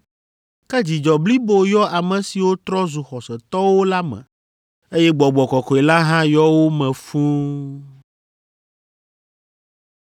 Ke dzidzɔ blibo yɔ ame siwo trɔ zu xɔsetɔwo la me, eye Gbɔgbɔ Kɔkɔe la hã yɔ wo me fũu.